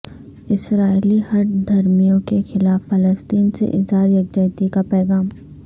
اسرائیلی ہٹ دھرمیوں کے خلاف فلسطین سے اظہار یکجہتی کا پیغام